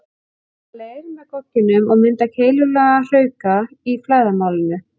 Þeir skafa leir með gogginum og mynda keilulaga hrauka í flæðarmálinu.